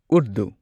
Urdu